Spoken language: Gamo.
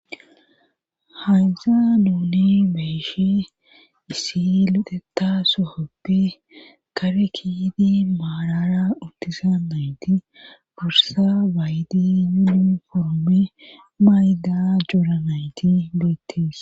hansa nuuni meeshe isi liteta sohoppe kare kiydi maarara ultisa nayti gursa baydi yidun formi mayda joranayti beettis